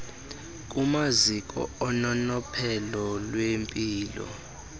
kumaziko ononophelo lwempilo